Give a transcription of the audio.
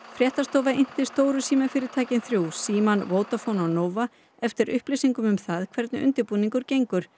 Fréttastofa innti stóru símafyrirtækin þrjú Símann Vodafone og Nova eftir upplýsingum um það hvernig undirbúningurinn gengur